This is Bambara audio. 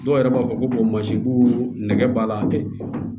Dɔw yɛrɛ b'a fɔ ko ko nɛgɛ b'a la tɛ